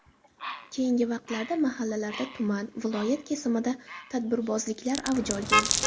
Keyingi vaqtlarda mahallalarda, tuman, viloyat kesimida tadbirbozliklar avj olgan?